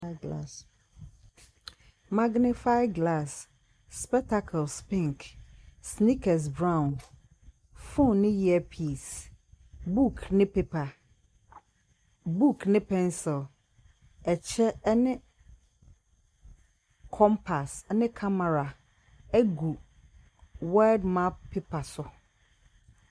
Magnefai glas, spɛtakels pink, snikɛs brawn, fon ne iɛpiis. Buk ne peepa, buk ne pɛnsil, ɛkyɛ ɛne kɔmpas ɛne kamera ɛgu wɛld map pepa so.